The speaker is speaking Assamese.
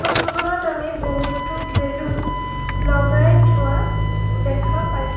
ফটো খনত আমি বহুতো বেলুন লগাই থোৱা দেখা পাইছোঁ।